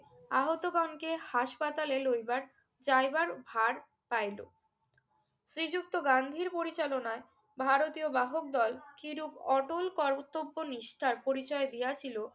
আহতগণকে হাসপাতালে লইবার যাইবার ভার পাইল। শ্রীযুক্ত গান্ধীর পরিচালনায় ভারতীয় বাহকদল কিরূপ অটল কর্তব্যনিষ্ঠার পরিচয় দিয়াছিল